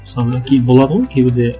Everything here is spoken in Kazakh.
мысалы болады ғой кейбірде